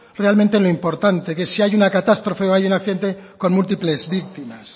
realmente lo importante que es si hay una catástrofe o hay un accidente con múltiples víctimas